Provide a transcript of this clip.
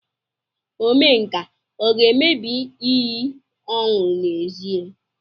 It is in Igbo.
Omenka ọ ga-emebi iyi ọ ṅụrụ n'ezie?